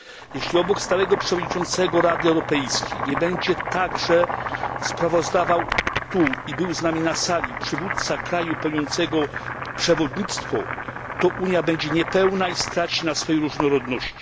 Jeśli obok stałego przewodniczącego Rady Europejskiej nie będzie także sprawozdawał tu i był z nami na sali przywódca kraju pełniącego przewodnictwo, to Unia będzie niepełna i straci na swojej różnorodności.